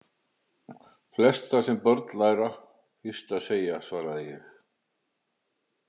Flest það, sem börn læra fyrst að segja svaraði ég.